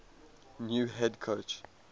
new head coach